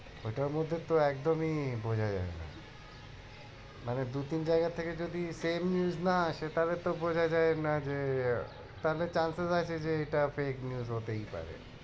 ওটার মধ্যে তো একদমই বোঝা যায় না মানে দুই তিন জায়গা থেকে যদি same news না আসে তাহলে তো বোঝা যায় না যে তাতে chaces আসে যে এইটা fake news হতেই পারে।